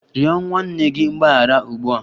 Rịọ nwanne gị mgbaghara ugbu a!